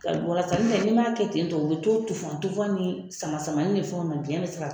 ka walasa n'i m'a kɛ ten tɔ u bɛ to tufan tufan ni samasamani ni fɛnw na biɲɛ bɛ se ka